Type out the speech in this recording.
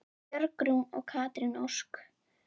Björg Rún og Katrín Ósk.